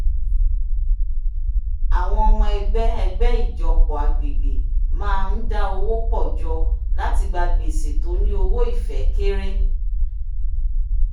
àwọn ọmọ ẹgbẹ́ ẹgbẹ́ ìjọpọ̀ agbègbè máa ń dá owó pọ̀ jọ láti gba gbèsè tó ní owó-ìfẹ́ kéré